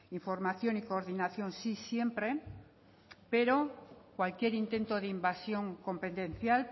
información y coordinación sí siempre pero cualquier intento de invasión competencial